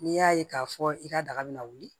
N'i y'a ye k'a fɔ i ka daga bɛ na wuli